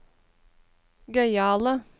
gøyale